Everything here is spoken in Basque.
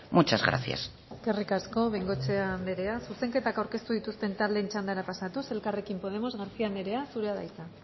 muchas gracias eskerrik asko bengoechea anderea zuzenketak aurkeztu dituzten taldeen txandara pasatuz elkarrekin podemos garcía anderea zurea da hitza